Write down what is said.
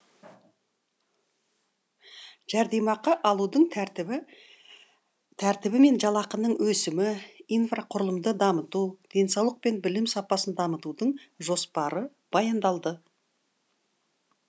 жәрдемақы алудың тәртібі мен жалақының өсімі инфрақұрылымды дамыту денсаулық пен білім сапасын дамытудың жоспары баяндалды